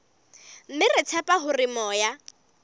mme re tshepa hore moya